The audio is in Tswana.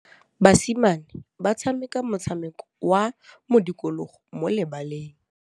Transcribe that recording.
Basimane ba tshameka motshameko wa modikologô mo lebaleng.